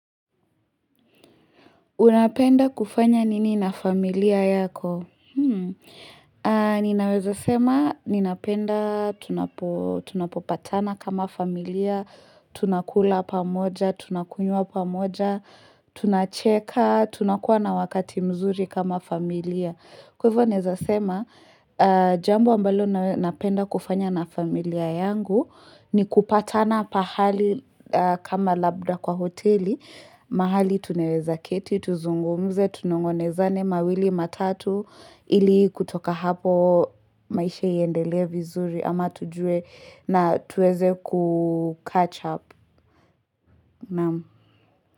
Unapenda kufanya nini na familia yako? Ninaweza sema, ninapenda, tunapopatana kama familia, tunakula pamoja, tunakunywa pamoja, tunacheka, tunakuwa na wakati mzuri kama familia. Kwa hivyo ninaweza sema, jambo ambalo napenda kufanya na familia yangu ni kupatana pahali kama labda kwa hoteli, mahali tunaweza keti, tuzungumze, tunong'onezane, mawili, matatu, ili kutoka hapo maisha iendelee vizuri ama tujue na tuweze kucatch up.